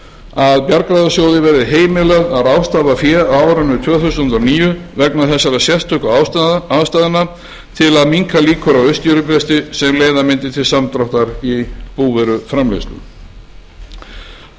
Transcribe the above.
að bjargráðasjóði verði heimilað að ráðstafa fé á árinu tvö þúsund og níu vegna þessara sérstöku aðstæðna til að minnka líkur á uppskerubresti sem leiða mundi til samdráttar í búvöruframleiðslu bráðabirgðaákvæðið gerir